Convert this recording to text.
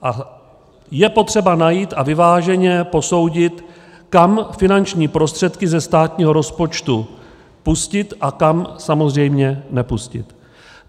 A je potřeba najít a vyváženě posoudit, kam finanční prostředky ze státního rozpočtu pustit a kam samozřejmě nepustit.